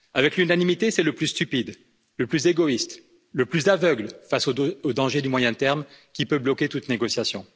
Avec l'unanimité, c'est le plus stupide, le plus égoïste, le plus aveugle face aux dangers du moyen terme, qui peut bloquer toute négociation.